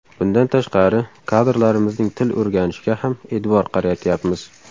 Bundan tashqari, kadrlarimizning til o‘rganishiga ham e’tibor qaratyapmiz.